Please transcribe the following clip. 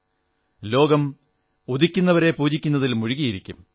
ഉദിക്കുന്നവരെ ലോകം ആദരിക്കുയും പൂജിക്കുകയും ചെയ്യും